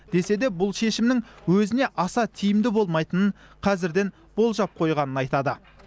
деседе бұл шешімнің өзіне аса тиімді болмайтынын қазірден болжап қойғанын айтады